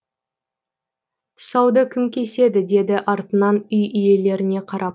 тұсауды кім кеседі деді артынан үй иелеріне қарап